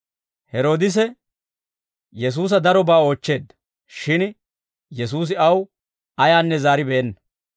Heroodise Yesuusa darobaa oochcheedda; shin Yesuusi aw ayaanne zaaribeenna.